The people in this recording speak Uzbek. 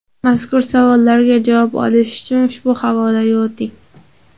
Mazkur savollarga javob olish uchun ushbu havolaga o‘ting.